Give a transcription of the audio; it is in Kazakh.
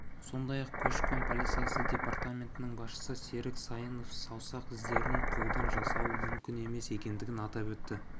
сондай-ақ көші-қон полициясы департаментінің басшысы серік сайынов саусақ іздерін қолдан жасау мүмкін емес екендігін атап өтті